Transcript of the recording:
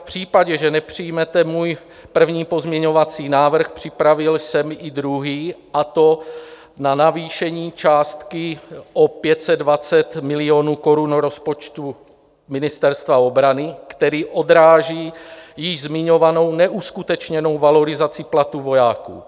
V případě, že nepřijmete můj první pozměňovací návrh, připravil jsem i druhý, a to na navýšení částky o 520 milionů korun rozpočtu Ministerstva obrany, který odráží již zmiňovanou neuskutečněnou valorizaci platu vojáků.